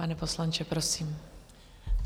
Pane poslanče, prosím.